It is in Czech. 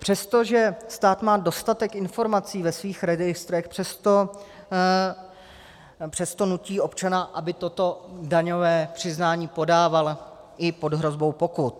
Přesto, že stát má dostatek informací ve svých registrech, přesto nutí občana, aby toto daňové přiznání podával, i pod hrozbou pokut.